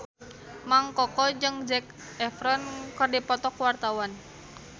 Mang Koko jeung Zac Efron keur dipoto ku wartawan